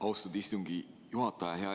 Austatud istungi juhataja!